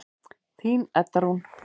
Þín Edda Rún.